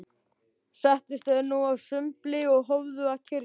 Settust þeir nú að sumbli og hófu að kyrja